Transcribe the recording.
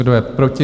Kdo je proti?